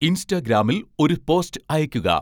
ഇൻസ്റ്റഗ്രാമിൽ ഒരു പോസ്റ്റ് അയക്കുക